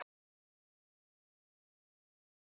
Ásgeir Sævar.